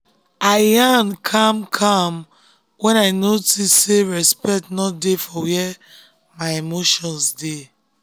i yarn calm-calm when i notice sey respect no dey for where my emotions dey.